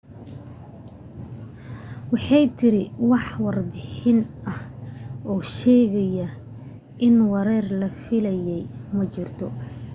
waxay tidhi wax warbixin ah oo sheegaysa in weerar la filayay ma jirto